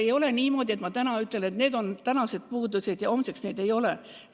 Ei ole niimoodi, et ma täna ütlen, et need on puudused, ja homseks neid ei ole.